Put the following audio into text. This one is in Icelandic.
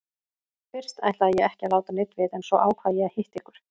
Fyrst ætlaði ég ekki að láta neinn vita en svo ákvað ég að hitta ykkur.